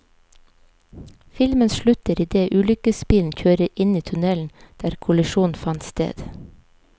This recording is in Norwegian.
Filmen slutter idet ulykkesbilen kjører inn i tunnelen der kollisjonen fant sted.